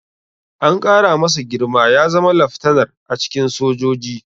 An ƙara masa girma ya zama laftanar a cikin sojoji.